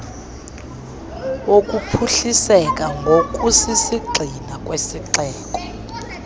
wokuphuhliseka ngokusisigxina kwesixeko